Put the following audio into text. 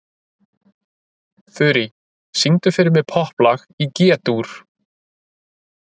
Þurý, syngdu fyrir mig „Popplag í G-dúr“.